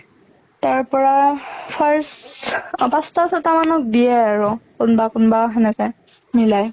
তাৰ পৰা first পাঁছ্টা ছটা মানক দিয়ে আৰু, কোনবা কোনবা সেনেকে মিলাই